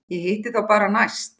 Ég hitti þá bara næst.